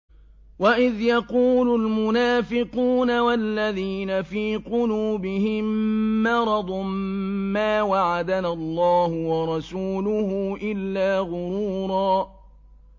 وَإِذْ يَقُولُ الْمُنَافِقُونَ وَالَّذِينَ فِي قُلُوبِهِم مَّرَضٌ مَّا وَعَدَنَا اللَّهُ وَرَسُولُهُ إِلَّا غُرُورًا